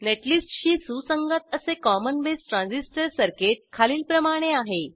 नेटलिस्टशी सुसंगत असे common base transistor circuit खालीलप्रमाणे आहे